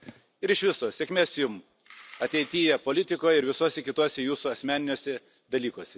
Ir iš viso, sėkmės Jums, ateityje politikoje ir visuose kituose Jūsų asmeniniuose dalykuose.